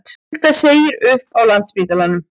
Hulda segir upp á Landspítalanum